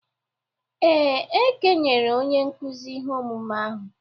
Ee, e kenyere onye nkụzi ihe omume ahụ.